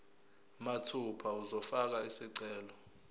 mathupha uzofaka isicelo